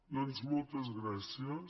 doncs moltes gràcies